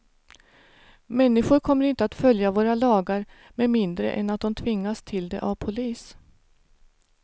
Människor kommer inte att följa våra lagar med mindre än att de tvingas till det av polis.